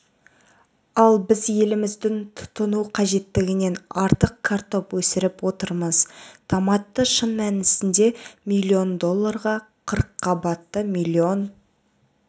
ал біз еліміздің тұтыну қажеттігінен артық картоп өсіріп отырмыз томатты шын мәнісінде млн долларға қырққабатты млн